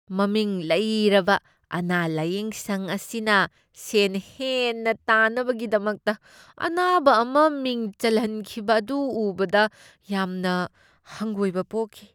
ꯃꯃꯤꯡ ꯂꯩꯔꯕ ꯑꯅꯥ ꯂꯥꯢꯌꯦꯡꯁꯪ ꯑꯁꯤꯅ ꯁꯦꯟ ꯍꯦꯟꯅ ꯇꯥꯟꯅꯕꯒꯤꯗꯃꯛꯇ ꯑꯅꯥꯕ ꯑꯃ ꯃꯤꯡ ꯆꯜꯍꯟꯈꯤꯕ ꯑꯗꯨ ꯎꯕꯗ ꯌꯥꯝꯅ ꯍꯪꯒꯣꯏꯕ ꯄꯣꯛꯈꯤ ꯫